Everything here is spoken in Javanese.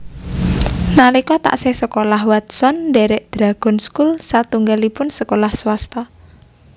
Nalika taksih sekolah Watson ndhèrèk Dragon School satunggalipun sekolah swasta